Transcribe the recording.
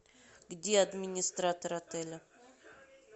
где администратор отеля